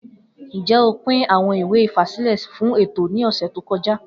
Njẹ o pin awọn iwe ifasilẹ fun eto ni ọsẹ to kọja?